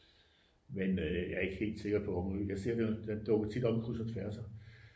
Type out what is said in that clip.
men jeg er ikke helt sikker på omø den dukker tit op i kryds og tværser